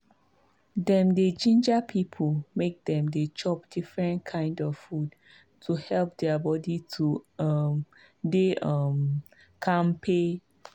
dem dey ginger people make dem dey chop different kind food to help their body to um dey um kampe.